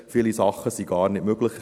Viele Sachen sind gar nicht möglich.